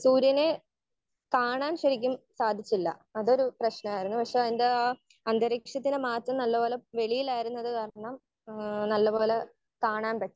Speaker 1 സൂര്യനെ കാണാൻ ശരിക്കും സാധിച്ചില്ല. അതൊരു പ്രശ്നമായിരുന്നു. പക്ഷെ ആഹ് അതിന്റെ ആഹ് ഒരു അന്തരീക്ഷത്തിന്റെ മാറ്റം നല്ല പോലെ വെയിൽ ആയത് കൊണ്ട് കാരണം ഏഹ് നല്ല പോലെ കാണാൻ പറ്റി.